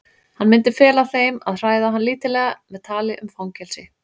Hann myndi fela þeim að hræða hann lítillega með tali um fangelsi.